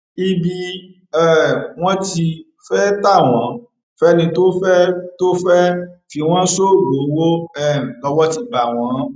ibi um wọn ti fẹẹ ta wọn fẹni tó fẹẹ tó fẹẹ fi wọn ṣoògùn owó um lọwọ ti bá wọn